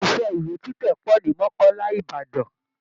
Ilé iṣẹ́ iwé títẹ̀ pọ̀ ní Mọ́kọ́là Ìbàdàn